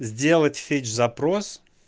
сделать фетч запрос